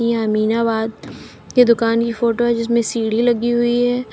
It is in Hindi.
अमीनाबाद की दुकान की फोटो है जिसमें सीढ़ी लगी हुई है।